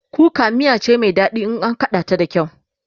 kuka miya cai Mai daɗi in an kaɗa ta da kyau